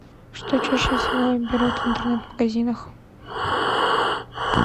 что чаще всего берут в интернет магазинах